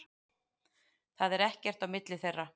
Það er ekkert á milli þeirra.